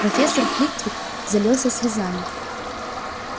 профессор флитвик залился слезами